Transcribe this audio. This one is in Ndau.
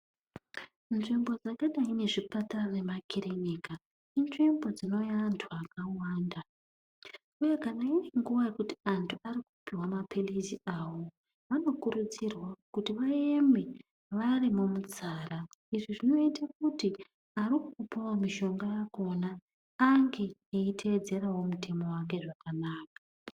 Nzvimbo dzakadai ngezvipatara nemakirinika inzvimbo dzinouya antu akawanda uye kana antu auya kopuwa mapilizi awo vanokurudzirwa kuti vaeme vari mumutsara. Izvi zvinoite kuti arikupawo mishonga akona ange eitedzerawo mutemo yake zvakanaka.